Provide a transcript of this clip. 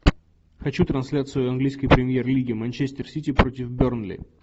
хочу трансляцию английской премьер лиги манчестер сити против бернли